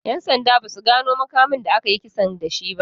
'Yan sanda ba su gano makamin da aka yi kisan da shi ba.